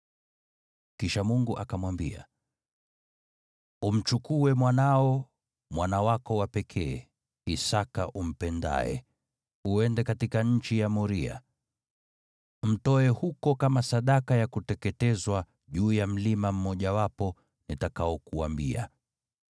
Kisha Mungu akamwambia, “Umchukue mwanao, mwana wako wa pekee, Isaki umpendaye, uende katika nchi ya Moria. Mtoe huko kama sadaka ya kuteketezwa juu ya mlima mmojawapo nitakaokuambia.”